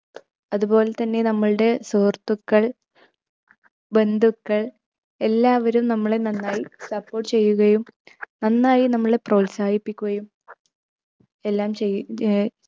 അതുപോലെ തന്നെ നമ്മളുടെ സുഹൃത്തുക്കൾ ബന്ധുക്കൾ എല്ലാവരും നമ്മളെ നന്നായി support ചെയ്യുകയും നന്നായി നമ്മളെ പ്രോത്സാഹിപ്പിക്കുകയും എല്ലാം ചെയ്യുകയാ